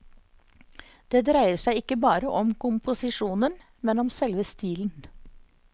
Det dreier seg ikke bare om komposisjonen, men om selve stilen.